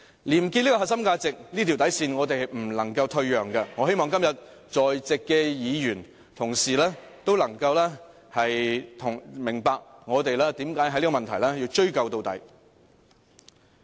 "廉潔"這個核心價值，這條底線，我們是不能退讓的，我希望今天在席的議員同事，都能明白我們為何要在這問題上追究到底。